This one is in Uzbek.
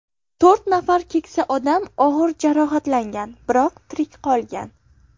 To‘rt nafar keksa odam og‘ir jarohatlangan, biroq tirik qolgan.